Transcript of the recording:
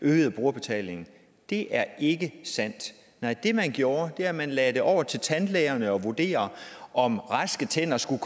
øgede brugerbetalingen det er ikke sandt nej det man gjorde var at man lagde det op til tandlægerne at vurdere om raske tænder skulle